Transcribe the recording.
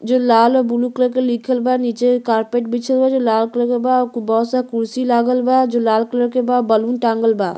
जो लाल और ब्लू कलर के लिखल बा। नीचे कारपेट बिछल बा। लाल कलर के बा। बहुत सारा कुर्सी लागल बा जो लाल कलर के बा। बैलून टाँगल बा।